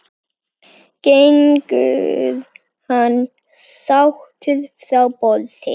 Gengur hann sáttur frá borði?